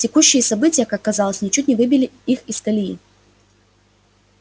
текущие события как казалось ничуть не выбили их из колеи